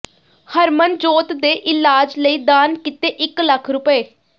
ਹਰਮਨਜੋਤ ਦੇ ਇਲਾਜ ਲਈ ਦਾਨ ਕੀਤੇ ਇਕ ਲੱਖ ਰੁਪਏ